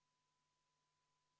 Palun võtta seisukoht ja hääletada!